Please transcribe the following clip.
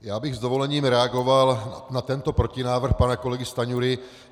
Já bych s dovolením reagoval na tento protinávrh pana kolegy Stanjury.